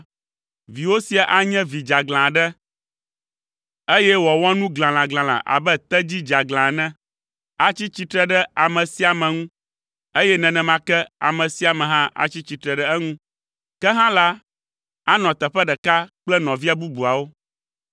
Viwò sia anye vi dzeaglã aɖe, eye wòawɔ nu glalaglalã abe tedzi dzeaglã ene! Atsi tsitre ɖe ame sia ame ŋu, eye nenema ke ame sia ame hã atsi tsitre ɖe eŋu. Ke hã la, anɔ teƒe ɖeka kple nɔvia bubuawo.”